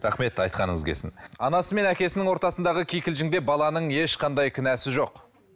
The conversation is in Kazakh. рахмет айтқаныңыз келсін анасы мен әкесінің ортасындағы кикілжіңде баланың ешқандай кінәсі жоқ